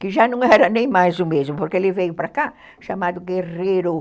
Que já não era nem mais o mesmo, porque ele veio para cá chamado Guerreiro.